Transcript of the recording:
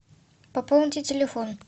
пополните телефон